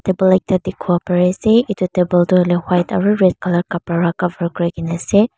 table ekta dikipolae pari asae etu table toh hoilae white aro red colour kapara para cover kurikina asae.